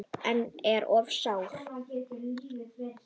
En er of sárt.